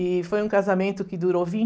E foi um casamento que durou